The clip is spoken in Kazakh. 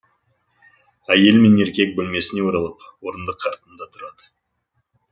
әйел мен еркек бөлмесіне оралып орындық артында тұрады